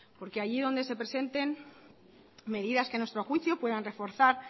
porque allí donde se presenten medidas que a nuestro juicio puedan reforzar